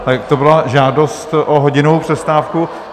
Tak to byla žádost o hodinovou přestávku.